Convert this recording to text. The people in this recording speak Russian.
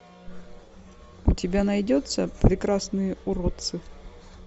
у тебя найдется прекрасные уродцы